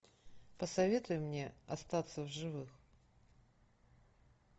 посоветуй мне остаться в живых